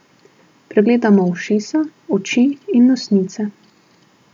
Pregledamo ušesa, oči in nosnice.